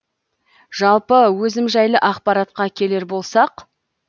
жалпы өзім жайлы ақпаратқа келер болсақ